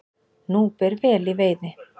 Nú ber vel í veiði